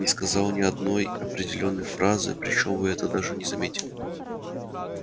не сказал ни одной определённой фразы причём вы этого даже не заметили